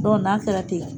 n'a taara ten